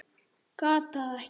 Gat það ekki.